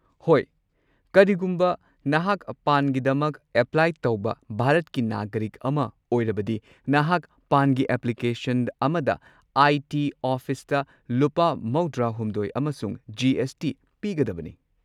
ꯍꯣꯏ, ꯀꯔꯤꯒꯨꯝꯕ ꯅꯍꯥꯛ ꯄꯥꯟꯒꯤꯗꯃꯛ ꯑꯦꯄ꯭ꯂꯥꯏ ꯇꯧꯕ ꯚꯥꯔꯠꯀꯤ ꯅꯥꯒꯔꯤꯛ ꯑꯃ ꯑꯣꯏꯔꯕꯗꯤ, ꯅꯍꯥꯛꯅ ꯄꯥꯟꯒꯤ ꯑꯦꯄ꯭ꯂꯤꯀꯦꯁꯟ ꯑꯃꯗ ꯑꯥꯏ. ꯇꯤ. ꯑꯣꯐꯤꯁꯇ ꯂꯨꯄꯥ ꯹꯳ ꯑꯃꯁꯨꯡ ꯖꯤ. ꯑꯦꯁ. ꯇꯤ. ꯄꯤꯒꯗꯕꯅꯤ꯫